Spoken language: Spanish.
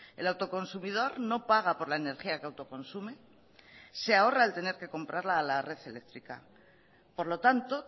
el autoconsumidor no paga por la energía que autoconsume se ahorra el tener que comprarla a la red eléctrica por lo tanto